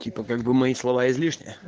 типа как бы мои слова излишние